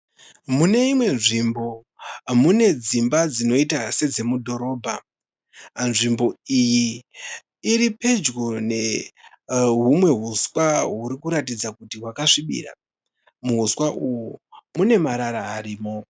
Muneimwe nzvimbo mune dzimba dzinoita sedze mudhorobha. Nzvimbo iyi iripedyo nehumwe huswa hurikuratidza kuti hwakasvibira. Muhuswa uhwu mune marara arimo.